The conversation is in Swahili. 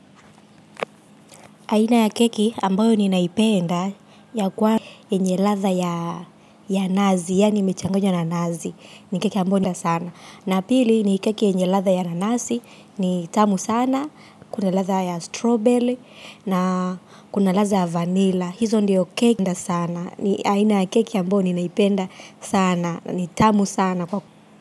Aina ya keki ambayo ninaipenda ya kwa yenye ladha ya nazi, yaani imechanganywa na nazi. Ni keki ambayo nda sana. Na pili ni keki yenye ladha ya nanasi, ni tamu sana, kuna ladha ya strawberry na kuna ladha ya vanila. Hizo ndiyo keki nda sana. Ni aina ya keki ambayo ninaipenda sana, ni tamu sana.